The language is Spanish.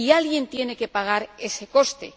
Y alguien tiene que pagar ese coste.